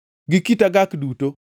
gi kit agak duto,